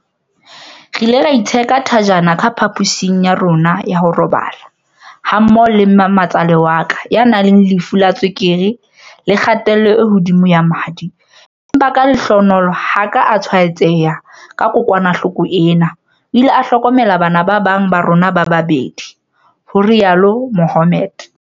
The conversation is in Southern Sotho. "Re ile ra itsheka thajana ka pha-posing ya rona ya ho robala, ha ka ho le leng mme ma-tsale wa ka, ya nang le lefu la tswekere le kgatello e hodimo ya madi empa ka lehlohonolo ha a ka a tshwaetseha ke kokwanahloko ena, o ile a hlokomela bana ba bang ba rona ba babedi," ho rialo Mohammed.